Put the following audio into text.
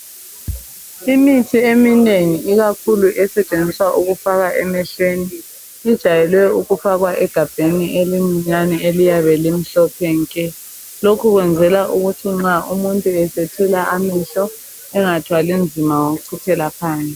imithi eminengi ikakhulu esetshenziswa ukufaka emehlweni ijwayelwe ukufakwa egabheni elincinyane eliyabe limhlophe nke lokhu kuyenzelwa ukuthi umuntu nxa esethela amehlo engathwali nzima ngokucithelwa phansi